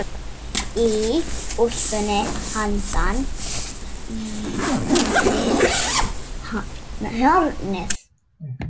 Í úlpunni handan við hornið.